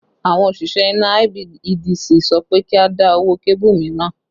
Àwọn òṣìṣẹ́ iná IBEDC sọ pé kí a dá owó kébù mìíràn